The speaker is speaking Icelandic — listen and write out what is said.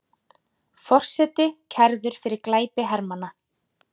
Forseti kærður fyrir glæpi hermanna